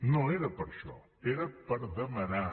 no era per això era per demanar